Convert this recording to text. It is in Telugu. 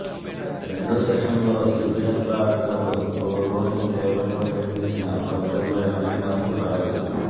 రెండో సెషన్లో ఇరు జట్ల ఆటగాళ్లు గోల్ కోసం తీవ్రంగా ప్రయత్నించినా ఫలితంలో ఎలాంటి మార్పు రాలేదు